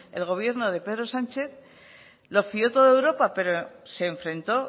el gobierno de pedro sánchez lo fio todo a europa